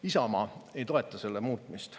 Isamaa ei toeta selle muutmist.